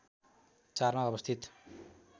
४ मा अवस्थित